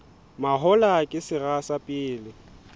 mahola ke sera sa pele